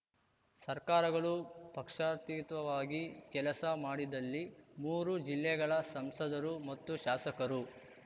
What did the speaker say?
ಸರ್ಕಾರಗಳು ಪಕ್ಷಾತೀತವಾಗಿ ಕೆಲಸ ಮಾಡಿದಲ್ಲಿ ಮೂರು ಜಿಲ್ಲೆಗಳ ಸಂಸದರು ಮತ್ತು ಶಾಸಕರು